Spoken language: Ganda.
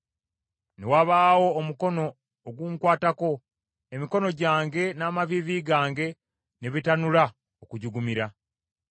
Ne wabaawo omukono ogunkwatako, emikono gyange n’amaviivi gange ne bitanula okujugumira.